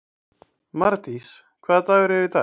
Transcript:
Mardís, hvaða dagur er í dag?